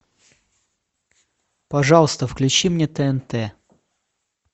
пожалуйста включи мне тнт